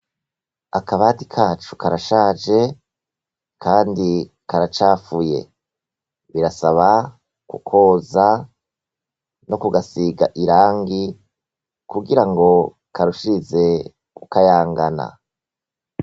Akabati kacu karashaje, kandi karacafuye birasaba kukoza no kugasiga irangi kugira ngo karushirize ukayangana.